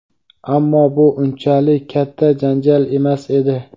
Ammo bu unchalik katta janjal emas edi.